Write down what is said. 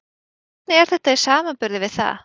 Hvernig er þetta í samanburði við það?